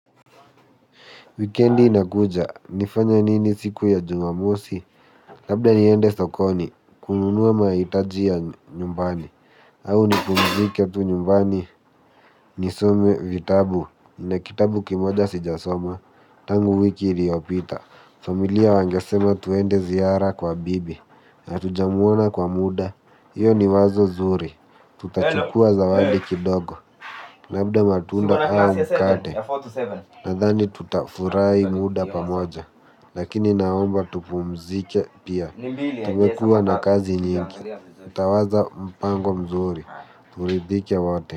Weekendi inakuja. Nifanye nini siku ya Jumamosi? Labda niende sokoni, kununua mahitaji ya nyumbani. Au nipumzike tu nyumbani, nisome vitabu. Nina kitabu kimoja sijasoma, tangu wiki iliopita, familia wangesema tuende ziara kwa bibi, hatujamuona kwa muda. Iyo ni wazo zuri. Tutachukua zawadi kidogo. Labda matunda au mkate, nathani tutafurahi muda pamoja. Lakini naomba tupumzike pia. Tumekua na kazi nyingi. Utawaza mpango mzuri turidhike wote.